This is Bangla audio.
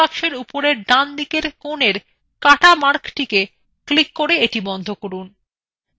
এখন dialogbox উপরের ডান দিকের কনে x markএ click করে এটি বন্ধ করুন